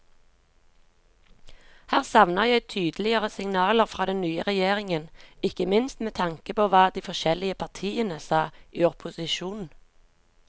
Her savner jeg tydeligere signaler fra den nye regjeringen, ikke minst med tanke på hva de forskjellige partiene sa i opposisjon.